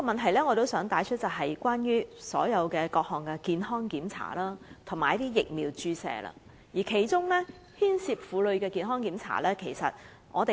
我想帶出的另一問題，是各項健康檢查及疫苗注射，包括婦科健康檢查。